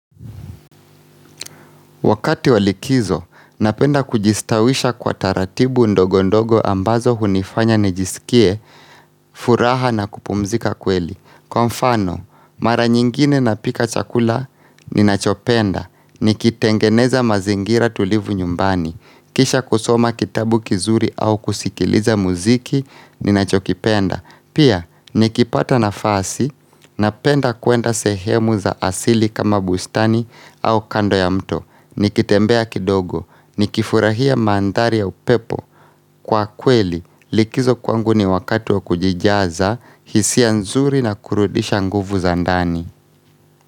Wakati wa likizo, napenda kujistawisha kwa taratibu ndogo ndogo ambazo hunifanya nijisikie, furaha na kupumzika kweli. Kwa mfano, mara nyingine napika chakula, ninachopenda, nikitengeneza mazingira tulivu nyumbani, kisha kusoma kitabu kizuri au kusikiliza muziki, ninachokipenda. Pia, nikipata nafasi, napenda kwenda sehemu za asili kama bustani au kando ya mto nikitembea kidogo, nikifurahia mandhari ya upepo Kwa kweli, likizo kwangu ni wakati wa kujijaza, hisia nzuri na kurudisha nguvu za ndani.